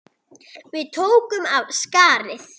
Við tókum af skarið.